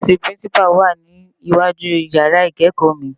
Òfisi Pirincipá wá ni iwájú iyàrá ikékò mi